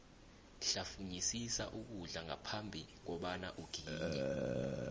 hlafunyisisa ukudla ngaphambhi kobana uginye